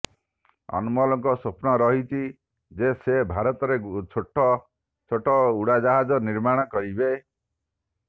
ଅନମୋଲଙ୍କ ସ୍ୱପ୍ନ ରହିଛି ଯେ ସେ ଭାରତରେ ଛୋଟ ଛୋଟ ଉଡାଜାହାଜ ନିର୍ମାଣ କରିବେ